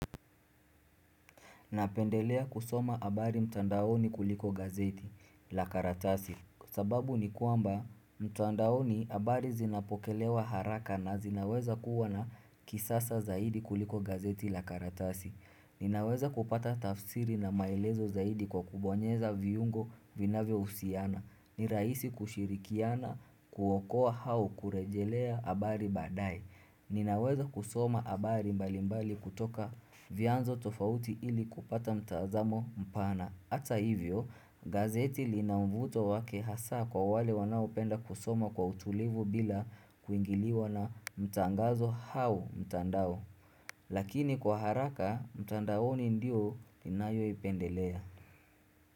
Napendelea kusoma habari mtandaoni kuliko gazeti la karatasi, sababu ni kwamba mtandaoni habari zinapokelewa haraka na zinaweza kuwa za kisasa zaidi kuliko gazeti la karatasi. Ninaweza kupata tafsiri na maelezo zaidi kwa kubonyeza viungo vinavyo husiana ni rahisi kushirikiana kuokoa au kurejelea habari baadae Ninaweza kusoma habari mbali mbali kutoka vyanzo tofauti ili kupata mtazamo mpana ata hivyo, gazeti lina mvuto wake hasa kwa wale wanao penda kusoma kwa utulivu bila kuingiliwa na mtangazo hau mtandao. Lakini kwa haraka, mtandaoni ndio ninayo ipendelea.